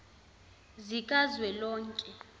zikazwelonke